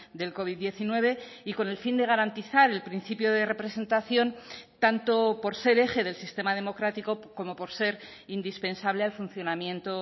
del covid diecinueve y con el fin de garantizar el principio de representación tanto por ser eje del sistema democrático como por ser indispensable al funcionamiento